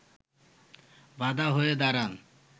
বাধা হয়ে দাঁড়ান